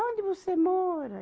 Onde você mora?